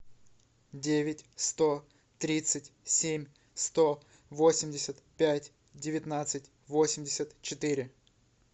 девять сто тридцать семь сто восемьдесят пять девятнадцать восемьдесят четыре